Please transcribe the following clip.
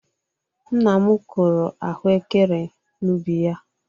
Nna m kụrụ ahụekere n'ubi ya.